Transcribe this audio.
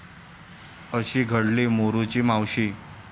अशी घडली 'मोरूची मावशी'